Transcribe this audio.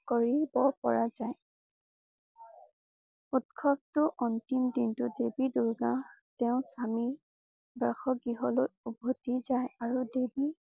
কৰিব পৰা যায়। উৎসৱটো অন্তিম দিনটোৰ দেৱী দুৰ্গা তেওঁক আমি বাস গৃহলৈ উভতি যায়। আৰু দেৱী